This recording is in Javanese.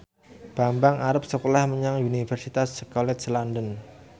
Bambang arep sekolah menyang Universitas College London